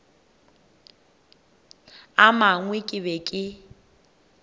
a mangwe ke be ke